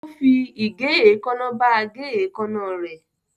Ó fi igè èékánná bá a gé èékánná rẹ̀.